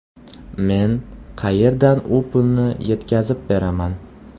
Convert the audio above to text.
Men qayerdan u pulni yetkazib beraman?